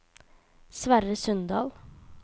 Sverre Sundal